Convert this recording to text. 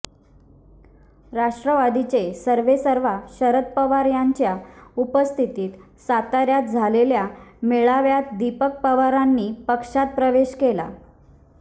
राष्ट्रवादीचे सर्वेसर्वा शरद पवार यांच्या उपस्थितीत साताऱ्यात झालेल्या मेळाव्यात दीपक पवारांनी पक्षात प्रवेश केला